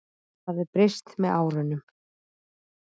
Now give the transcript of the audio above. Það hafi breyst með árunum.